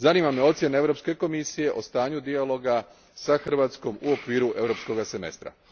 Zanima me ocjena Europske komisije o stanju dijaloga sa Hrvatskom u okviru Europskoga semestra.